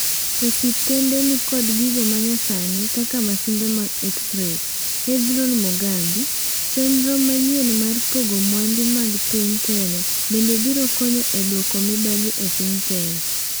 Osiptende ni kod gigo manyasani kaka masinde mag X-Ray. Hezron Mogambi: Chenro manyien mar pogo mwandu mag piny Kenya bende biro konyo e duoko mibadhi e piny Kenya?